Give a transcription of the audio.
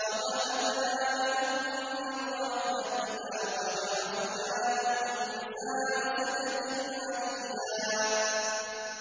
وَوَهَبْنَا لَهُم مِّن رَّحْمَتِنَا وَجَعَلْنَا لَهُمْ لِسَانَ صِدْقٍ عَلِيًّا